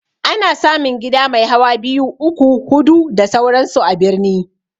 Ana samun gida mai hawa biyu, uku, hudu da sauran su a birni